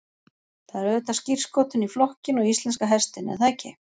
Það er auðvitað skírskotun í flokkinn og íslenska hestinn er það ekki?